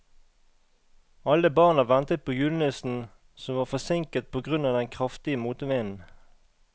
Alle barna ventet på julenissen, som var forsinket på grunn av den kraftige motvinden.